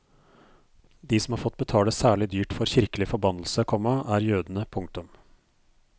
De som har fått betale særlig dyrt for kirkelig forbannelse, komma er jødene. punktum